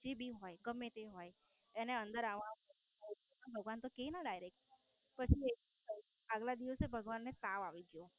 જે ભી હોય ગમે તે હોય એને અંદર આવવાનું ભગવાન તો કે ને Direct પછી એવું થયું આગલા દિવસે ભગવાન ને તાવ આયી ગયો.